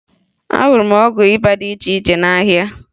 Ahụrụ m ọgwụ ịba dị iche iche n'ahịa